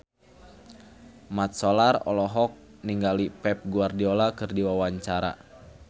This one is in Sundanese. Mat Solar olohok ningali Pep Guardiola keur diwawancara